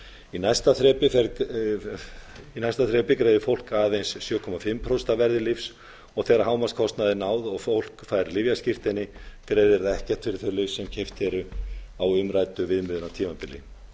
í næsta þrepi greiðir fólk aðeins sjö og hálft prósent af verði lyfs þegar hámarkskostnaði er náð og fólk fær lyfjaskírteini greiðir það ekkert fyrir þau lyf sem keypt eru á umræddu viðmiðunartímabili